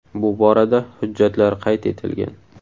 Bu borada hujjatlar qayd etilgan.